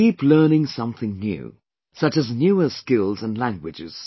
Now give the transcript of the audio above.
Keep learning something new, such as newer skills and languages